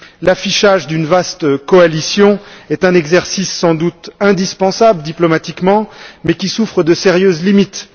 L'affichage d'une vaste coalition est un exercice sans doute indispensable diplomatiquement mais qui souffre de sérieuses limites.